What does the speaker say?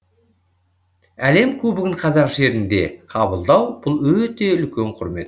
әлем кубогын қазақ жерінде қабылдау бұл өте үлкен құрмет